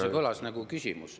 See kõlas nagu küsimus.